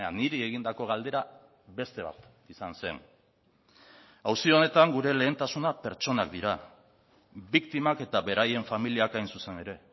niri egindako galdera beste bat izan zen auzi honetan gure lehentasuna pertsonak dira biktimak eta beraien familiak hain zuzen ere